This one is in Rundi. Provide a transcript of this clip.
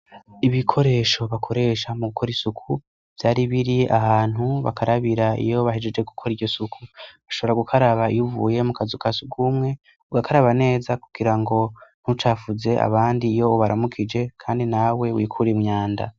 Ibikoresho bakoresha mu gukora isuku vyari biri ahantu bakarabira iyo bahejeje gukora iyo suku ashobora gukaraba iyo uvuye mu kazi kasukumwe ugakaraba neza kugira ngo ntucafuze abandi iyo baramukije kandi nawe wikure imyanda.